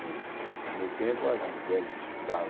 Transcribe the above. No no meu tempo, as mulheres que estudavam